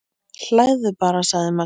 Hlæðu bara, sagði Magnús.